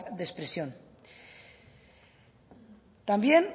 de expresión también